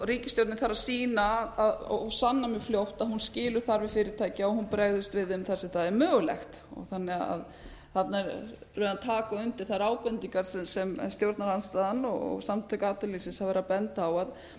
ríkisstjórnin þarf að sýna og sanna mjög fljótt hvort hún skilur þarfir fyrirtækja og hún bregðist við þeim þar sem það er mögulegt þannig að þarna erum við að taka undir þær ábendingar sem stjórnarandstaðan og samtök atvinnulífsins hafa verið að benda á